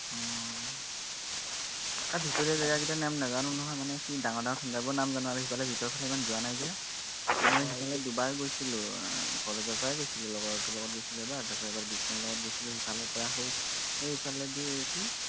তাৰ ভিতৰুৱা জেগাকিটাৰ নাম নাজানো নহয়, মানে কি ডাঙৰ ডাঙৰ center বোৰৰ নাম জানো আৰু সেইফালে ভিতৰফালে ইমান যোৱা নাই যে মানে সেইফালে দুবাৰ গৈছিলো আহ college ৰ পৰাই গৈছিলো, লগৰটোৰ লগত গৈছিলো এবাৰ, তাৰপিছত এবাৰ বিস্ময়ৰ লগত গৈছিলো সেইফালে পাৰ হৈ সেই সেইফালেদি কি